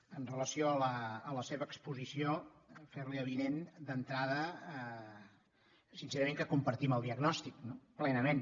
amb relació a la seva exposició ferli avinent d’entrada sincerament que en compartim el diagnòstic plenament